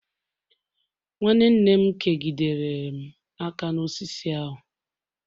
nwanne nne m kegidere m aka n'osisi ahu